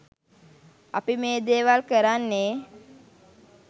අපි මේ දේවල් කරන්නේ